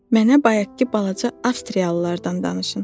Mənə bayaqkı balaca avstriyalılardan danışın.